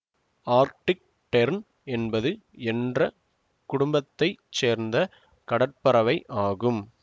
Arctic tern என்பது என்ற குடும்பத்தை சேர்ந்த கடற்பறவை ஆகும்